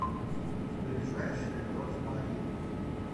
ближайший розмарин